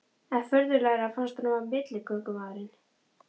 Enn furðulegra fannst honum að milligöngumaðurinn